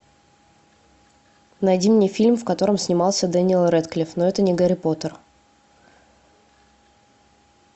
найди мне фильм в котором снимался дэниел рэдклифф но это не гарри поттер